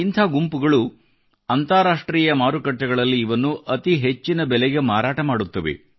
ಇಂಥ ಗುಂಪುಗಳು ಅಂತಾರಾಷ್ಟ್ರೀಯ ಮಾರುಕಟ್ಟೆಗಳಲ್ಲಿ ಇವನ್ನು ಅತೀ ಹೆಚ್ಚಿನ ಬೆಲೆಗೆ ಮಾರಾಟ ಮಾಡುತ್ತವೆ